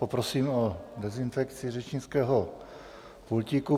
Poprosím o dezinfekci řečnického pultíku.